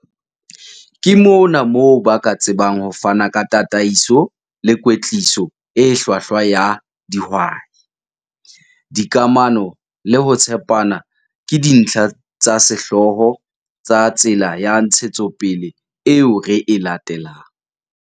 Ke mona moo ba ka tsebang ho fana ka tataiso le kwetliso e hlwahlwa ya dihwai. Dikamano le ho tshepana ke dintlha tsa sehlooho tsa tsela ya ntshetsopele eo re e latelang.